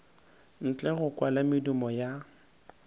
ntle go kwala medumo ya